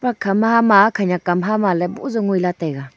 ma khama khenyak hum ha kha ma ley pu jow ngan ley taiga.